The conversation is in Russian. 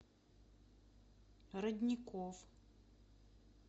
родников